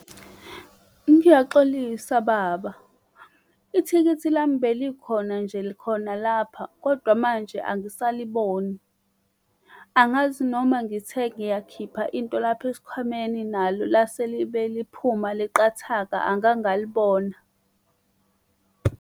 Ngiyaxolisa baba, ithikithi lami belikhona nje khona lapha, kodwa manje angisaliboni. Angazi noma ngithe ngiyakhipha into lapha esikhwameni nalo lase libe liphuma liqhathaka angangalibona.